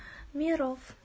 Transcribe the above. миров